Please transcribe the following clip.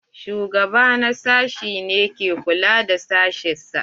Shugaba na sashi ne ke kula da sashen sa.